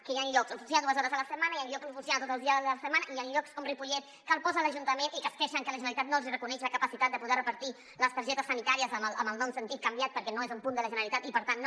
que hi ha llocs on funciona dues hores a la setmana i hi han llocs on funciona tots els dies de la setmana i hi han llocs com ripollet que el posa l’ajuntament i que es queixen que la generalitat no els hi reconeix la capacitat de poder repartir les targetes sanitàries amb el nom sentit canviat perquè no és un punt de la generalitat i per tant no